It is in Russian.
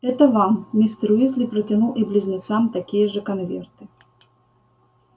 это вам мистер уизли протянул и близнецам такие же конверты